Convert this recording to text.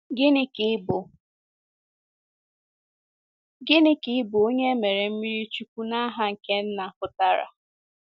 Gịnị ka ịbụ Gịnị ka ịbụ onye e mere mmiri chukwu “n’aha nke Nna” pụtara?